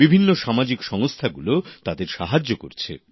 বিভিন্ন সামাজিক সংস্থাগুলো তাদের সাহায্য করছে